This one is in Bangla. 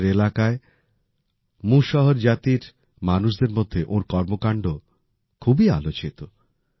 নিজের এলাকায় মুশহর জাতির মানুষদের মধ্যে ওঁর কর্মকাণ্ড খুবই আলোচিত